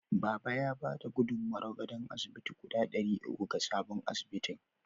Baba ya ba da gudummawar gadon asibiti guda ɗari uku ga sabon asibitin.